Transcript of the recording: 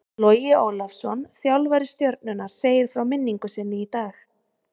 Logi Ólafsson þjálfari Stjörnunnar segir frá minningu sinni í dag.